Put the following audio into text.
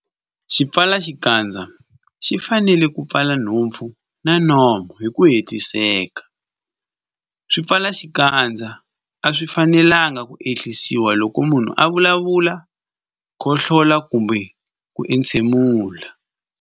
Xipfalaxikandza xi fanele ku pfala nhompfu na nomo hi ku hetiseka. Swipfalaxikandza a swi fanelanga ku ehlisiwa loko munhu a vulavula, khohlola kumbe ku entshemula.